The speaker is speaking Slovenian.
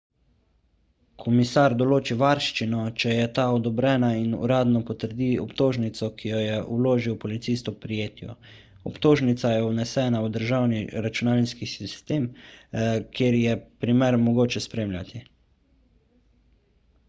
komisar določi varščino če je ta odobrena in uradno potrdi obtožnico ki jo je vložil policist ob prijetju obtožnica je vnesena v državni računalniški sistem kjer je primer mogoče spremljati